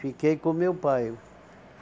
Fiquei com o meu pai.